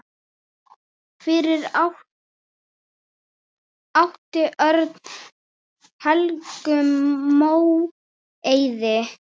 Fyrir átti Örn Helgu Móeiði.